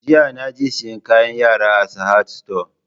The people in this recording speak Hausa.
Jiya naje siyan kayan yara a Sahad sito